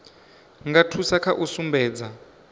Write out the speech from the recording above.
nga thusa kha u sumbedza